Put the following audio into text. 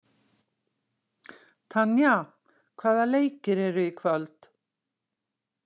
Tanya, hvaða leikir eru í kvöld?